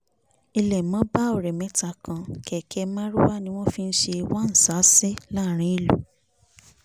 ilé mo bá ọ̀rẹ́ mẹ́ta kan kéékè marwa ni wọ́n fi ń ṣe wán-ṣàánṣì láàrin ìlú